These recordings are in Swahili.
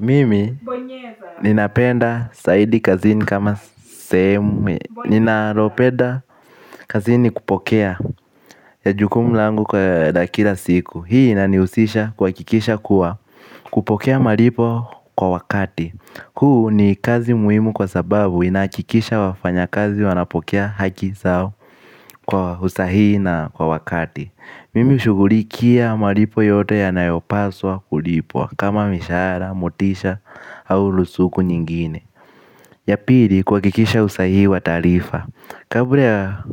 Mimi, ninapenda saidi kazini kama semu, ninaropenda kazini kupokea. Ya jukumu langu kwa dakila siku, hii inaniusisha kwa kikisha kuwa kupokea maripo kwa wakati. Huu ni kazi muhimu kwa sababu inakikisha wafanya kazi wanapokea haki zao kwa usahii na kwa wakati. Mimi ushuguri kia maripo yote ya nayopaswa kulipo kama mishara, motisha au lusuku nyingine. Ya pili kuhakikisha usahihi wa taarifa. Kabra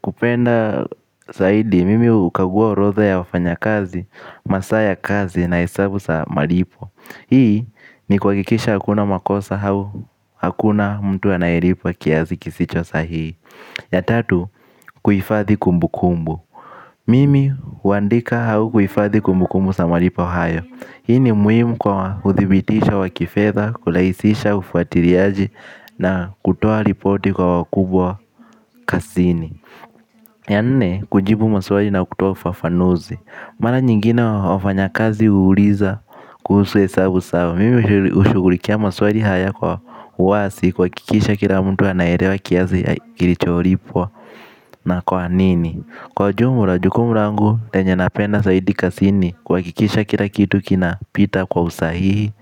kupenda saidi mimi hukagua orodha ya wafanyakazi, masaa ya kazi na hesabu sa malipo. Hii ni kuhakikisha hakuna makosa hau hakuna mtu anayeripwa kiazi kisicho sahihi. Ya tatu kuhifathi kumbukumbu. Mimi huandika hau kuhifadhi kumbukumbu sa maripo hayo. Hii ni muhimu kwa uthibitisho wa kifedha, kulahisisha ufuatiliaji na kutoa ripoti kwa wakubwa kasini. Ya nne, kujibu maswali na kutoa ufafanuzi. Mara nyingine wafanyakazi huuliza kuhusu hesabu sao. Mimi hushughulikia maswali haya kwa uwasi kuhakikisha kila mtu anaerewa kiazi kilichoripwa na kwa nini. Kwa ujumra jukumu rangu lenye napenda saidi kasini kuhakikisha kila kitu kina pita kwa usahihi,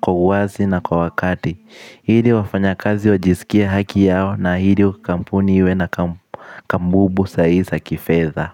kwa uwasi na kwa wakati ili wafanyakazi wajisikie haki yao na ili kampuni iwe na kambubu sahi za kifedha.